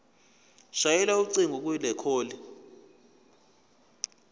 shayela ucingo kwicall